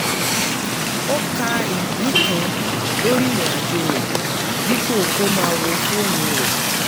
ó ka ìpín kan lórí ìrìn àjò rẹ̀ dípò kó máa wo fóònù rẹ̀